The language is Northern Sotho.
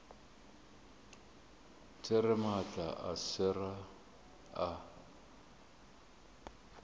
there maatla a sera a